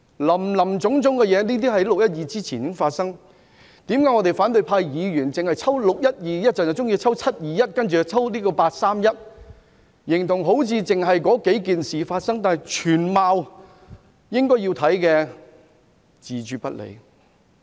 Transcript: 林林總總的事情在"六一二"事件之前已經發生，為何反對派議員只抽取"六一二"事件、"七二一"事件或"八三一"事件出來調查，好像只發生了那數件事，但對於全貌卻置諸不理？